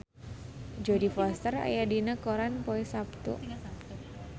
Jodie Foster aya dina koran poe Saptu